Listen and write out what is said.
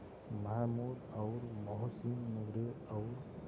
महमूद और मोहसिन नूरे और